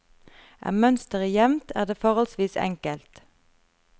Er mønsteret jevnt, er det forholdsvis enkelt.